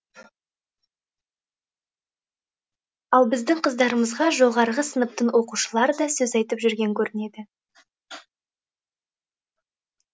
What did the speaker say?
ал біздің қыздарымызға жоғарғы сыныптың оқушылары да сөз айтып жүрген көрінеді